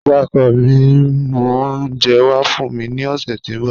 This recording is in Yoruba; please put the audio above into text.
Iya ọkọ mi n mu ounjẹ wa fun mi ni ọsẹ ti n bọ.